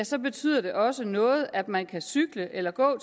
så betyder det også noget at man kan cykle eller gå